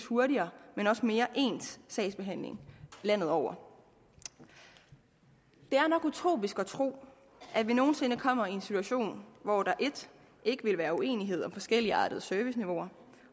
hurtigere men også mere ens sagsbehandling landet over det er nok utopisk at tro at vi nogen sinde kommer i en situation hvor der 1 ikke vil være uenighed om forskelligartede serviceniveauer